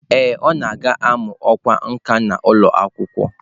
Ee, ọ ga-amụ ọkwá nkà n'ụlọ akwụkwọ.